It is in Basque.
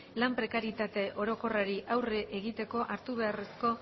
lan prekarietate orokorrari aurre egiteko hartu beharreko